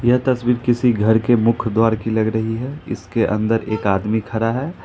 यह तस्वीर किसी घर के मुख्य द्वार की लग रही है इसके अंदर एक आदमी खड़ा है ।